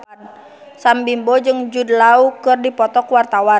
Sam Bimbo jeung Jude Law keur dipoto ku wartawan